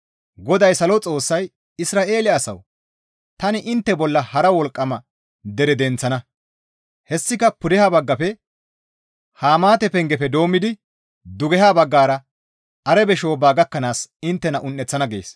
GODAY Salo Xoossay, «Isra7eele asawu! Tani intte bolla hara wolqqama dere denththana; hessika pudeha baggafe Hamaate pengefe doommidi dugeha baggara Arabe shoobba gakkanaas inttena un7eththana» gees.